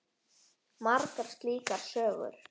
Margar slíkar sögur.